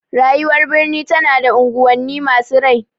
Rayuwar birni tana da unguwanni masu rai.